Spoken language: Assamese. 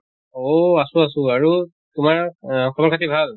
অহ আছো আছো আৰু তোমাৰ আহ খবৰ খাতি ভাল?